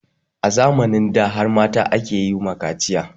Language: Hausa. A zamanin da har mata ake yi wa kaciya